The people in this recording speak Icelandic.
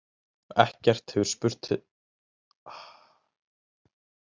Ekkert hefur spurst til þeirra síðan